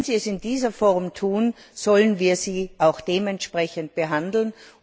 Wenn sie es in dieser Form tun, sollen wir sie auch dementsprechend behandeln.